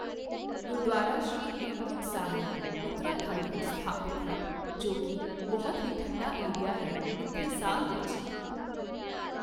ਗੁਰਦੁਆਰਾ ਸ਼੍ਰੀ ਹੇਮਕੁੰਟ ਸਾਹਿਬ ਉੱਤਰਾਖੰਡ ਵਿੱਚ ਸਥਾਪਿਤ ਹੈ ਜੋ ਕੀ ਬਹੁਤ ਹੀ ਠੰਡਾ ਏਰੀਆ ਹੈ ਇੱਥੇ ਸਾਲ ਵਿੱਚ